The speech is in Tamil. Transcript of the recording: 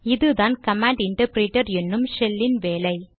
இதுதான் கமாண்ட் இன்டர்ப்ரேடர் என்னும் ஷெல் இன் வேலை